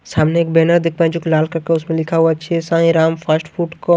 सामने एक बैनर देख पा रहे जो कि लाल कलर का उस पे लिखा हुआ श्री साईं राम फास्ट फूड